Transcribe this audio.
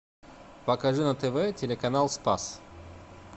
покажи на тв телеканал спас